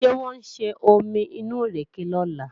Ṣé wọ́n ó ṣe omi inú ìrèkè lọ́la?